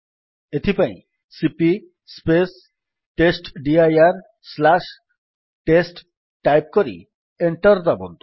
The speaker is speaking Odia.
ଏଥିପାଇଁ ସିପି ଟେଷ୍ଟଡିର ଟେଷ୍ଟ ଟାଇପ୍ କରି ଏଣ୍ଟର୍ ଦାବନ୍ତୁ